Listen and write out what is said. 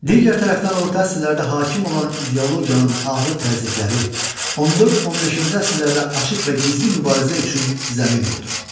Digər tərəfdən orta əsrlərdə hakim olan ideologiyanın ağır təzyiqləri 14-15-ci əsrlərdə açıq və gizli mübarizə üçün zəmin oldu.